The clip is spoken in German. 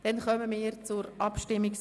Damit kommen wir zur Abstimmung.